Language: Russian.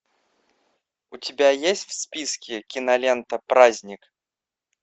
у тебя есть в списке кинолента праздник